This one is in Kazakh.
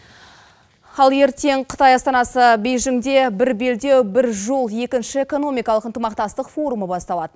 ал ертен қытай астанасы бейжінде бір белдеу бір жол екінші экономикалық ынтымақтастық форумы басталады